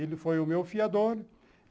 Ele foi o meu fiador.